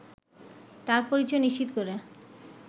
তার পরিচয় নিশ্চিত করে